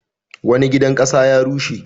Wani gidan ƙasa ya rushe.